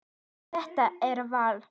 En þetta er val.